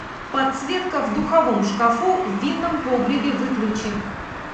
подсветка в духовом шкафу в винном погребе выключи